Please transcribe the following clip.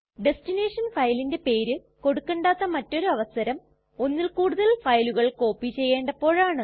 destination ഫയലിന്റെ പേര് കൊടുക്കണ്ടാത്ത മറ്റൊരവസരം ഒന്നിൽ കൂടുതൽ ഫയലുകൾ കോപ്പി ചെയ്യണ്ടപ്പോഴാണ്